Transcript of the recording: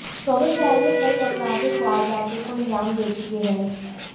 दोनों शहर में कई आपराधिक वारदातों को अंजाम दे चुके हैं